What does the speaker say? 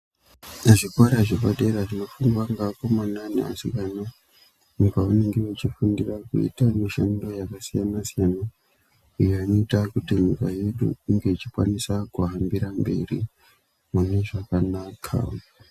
Zvikora zvepadera zvinofundwa ngeakomana ngeasikana uko kwavanenge vachifundira kuita mishando yakasiyana-siyana. Iyo inoita kuti nyika yedu inge ichikwanisa kuhambira mberi mune zvakanaka.